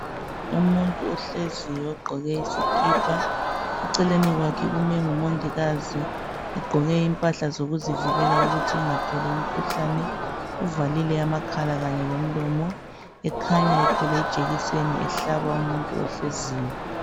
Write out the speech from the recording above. Umuntu ohleziyo ogqoke isikipa eceleni kwakhe kumi uMongikazi egqoke impahla zokuzivikela ukuze engatholi umkhuhlane uvalile amakhala kunye lomlomo ekhanya ethwele ijekiseni ehlaba umuntu ohleziyo.